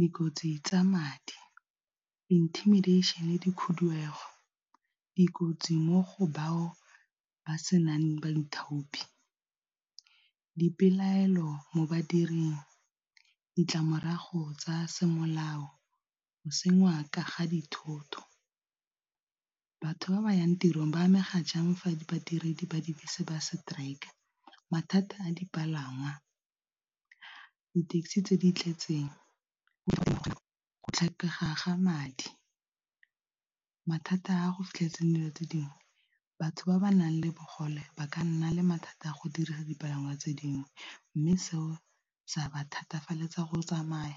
Dikotsi tsa madi, intimidation, dikhudugo, dikotsi mo go bao ba senang baithopi, dipelaelo mo badiring, ditlamorago tsa semolao, go senngwa ka ga dithoto. Batho ba ba yang tirong ba amega jang fa di badiredi ba dibese ba strike? Mathata a dipalangwa, di-taxi tse di tletseng, go tlhokega ga madi. Mathata a go fitlhetseng dilo tse dingwe batho ba ba nang le bogole ba ka nna le mathata a go dirisa dipalangwa tse dingwe, mme seo sa ba thatafeletsa go tsamaya,